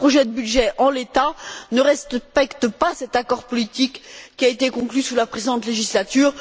Or, le projet de budget en l'état ne respecte pas cet accord politique qui a été conclu sous la précédente législature.